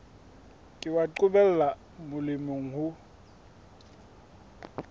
ke wa qobella molemi ho